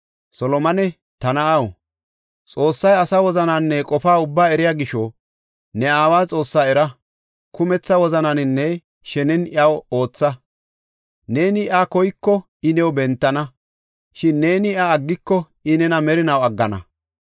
“Solomone, ta na7aw, Xoossay asa wozananne qofa ubbaa eriya gisho ne aawa Xoossaa era; kumetha wozananinne shenen iyaw ootha. Neeni iya koyiko I new bentana; shin neeni iya aggiko I nena merinaw aggana.